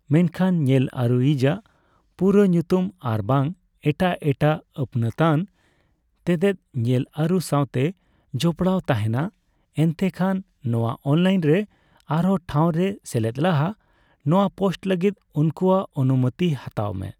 ᱢᱮᱱᱠᱷᱟᱱ ᱧᱮᱞ ᱟᱹᱨᱩᱭᱤᱡᱟᱜ ᱯᱩᱨᱟᱹ ᱧᱩᱛᱩᱢ ᱟᱨᱵᱟᱝ ᱮᱴᱟᱜ ᱮᱴᱟᱜ ᱟᱹᱯᱱᱟᱛᱟᱱ ᱛᱮᱛᱮᱫ ᱧᱮᱞ ᱟᱹᱨᱩ ᱥᱟᱣᱛᱮ ᱡᱚᱯᱲᱟᱣ ᱛᱟᱦᱮᱱᱟ, ᱮᱱᱛᱮᱠᱷᱟᱱ ᱱᱚᱣᱟ ᱚᱱᱞᱟᱭᱤᱱ ᱨᱮ ᱟᱨᱦᱚᱸ ᱴᱷᱟᱣ ᱨᱮ ᱥᱮᱞᱮᱫ ᱞᱟᱦᱟ ᱱᱚᱣᱟ ᱯᱳᱥᱴ ᱞᱟᱹᱜᱤᱫ ᱩᱱᱠᱩᱣᱟᱜ ᱚᱱᱩᱢᱚᱛᱤ ᱦᱟᱛᱟᱣ ᱢᱮ ᱾